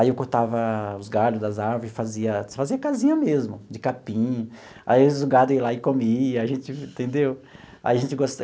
Aí eu cortava os galhos das árvores e fazia fazia casinha mesmo, de capim, aí os gado ia lá e comia, a gente entendeu? Aí a gente.